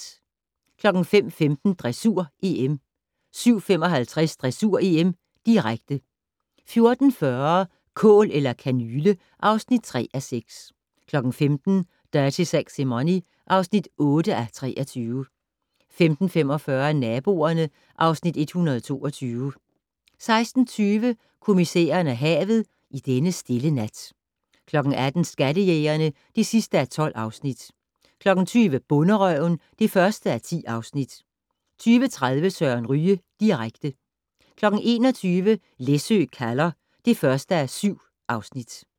05:15: Dressur: EM 07:55: Dressur: EM, direkte 14:40: Kål eller kanyle (3:6) 15:00: Dirty Sexy Money (8:23) 15:45: Naboerne (Afs. 122) 16:20: Kommissæren og havet: I denne stille nat 18:00: Skattejægerne (12:12) 20:00: Bonderøven (1:10) 20:30: Søren Ryge direkte 21:00: Læsø kalder (1:7)